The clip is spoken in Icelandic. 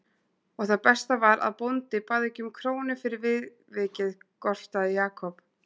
Og það besta var að bóndi bað ekki um krónu fyrir viðvikið gortaði Jakob.